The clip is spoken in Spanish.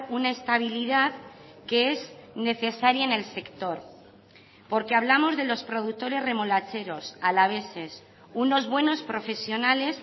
una estabilidad que es necesaria en el sector porque hablamos de los productores remolacheros alaveses unos buenos profesionales